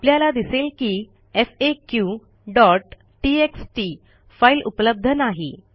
आपल्याला दिसेल की faqटीएक्सटी फाईल उपलब्ध नाही